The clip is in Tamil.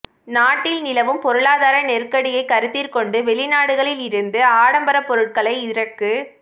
நாட்டில் நிலவும் பொருளாதார நெருக்கடியை கருத்திற்கொண்டு வெளிநாடுகளில் இருந்து ஆடம்பர பொருட்களை இறக்கு